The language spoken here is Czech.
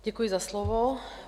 Děkuji za slovo.